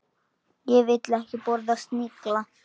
Ég vil ekki borða snigla.